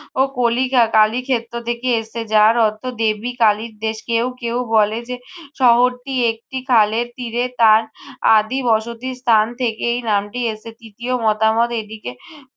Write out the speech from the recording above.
ও কলিকা কালী ক্ষেত্র থেকে এসেছে যার অর্থ দেবী কালীর দেশ। কেউ কেউ বলে যে শহর টি একটি খালের তীরে তার আদি বসতিস্থান থেকে এই নামটি এসেছে। তৃতীয় মতামত এটিকে